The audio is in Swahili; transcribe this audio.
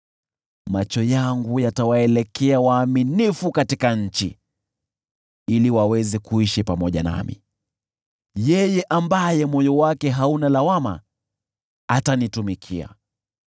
Macho yangu yatawaelekea waaminifu katika nchi, ili waweze kuishi pamoja nami; yeye ambaye moyo wake hauna lawama atanitumikia.